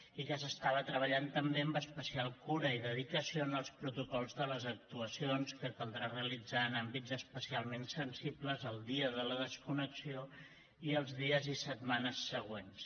i que s’estava treballant també amb especial cura i dedicació en els protocols de les actuacions que caldrà realitzar en àmbits especialment sensibles el dia de la desconnexió i els dies i setmanes següents